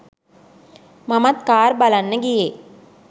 මමත් කාර් බලන්න ගියේ.